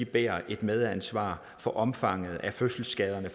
bærer et medansvar for omfanget af fødselsskaderne